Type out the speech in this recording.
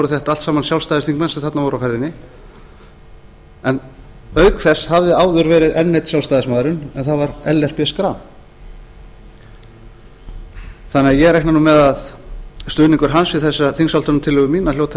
þetta allt saman sjálfstæðisþingmenn sem þarna voru á ferðinni en auk þess hafði áður verið enn einn sjálfstæðismaðurinn en það var ellert b schram þannig að ég reikna nú með að stuðningur hans við þessa þingsályktunartillögu mína hljóti